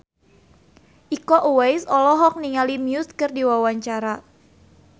Iko Uwais olohok ningali Muse keur diwawancara